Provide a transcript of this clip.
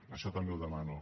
això també ho demano